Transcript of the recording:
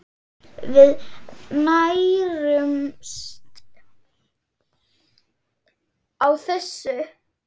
Við nærumst á þessu.